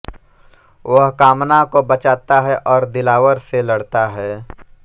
वह कामना को बचाता है और दिलावर से लड़ता है